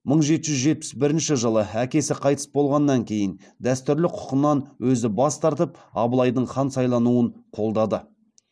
мың жеті жүз жетпіс бірінші әкесі қайтыс болғаннан кейін дәстүрлі құқынан өзі бас тартып абылайдың хан сайлануын қолдады